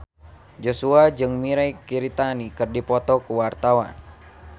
Joshua jeung Mirei Kiritani keur dipoto ku wartawan